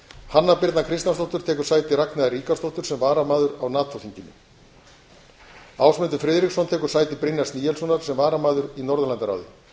hanna birna kristjánsdóttir tekur sæti ragnheiðar ríkharðsdóttur sem varamaður á nato þinginu ásmundur friðriksson tekur sæti brynjars níelssonar sem varamaður í norðurlandaráði